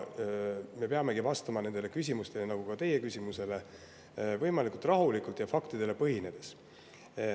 Me peamegi vastama nendele küsimustele, nagu ka teie küsimusele, võimalikult rahulikult ja faktidele põhinedes.